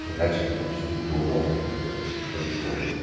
херачат отовсюду кто может только то есть это тоже сложно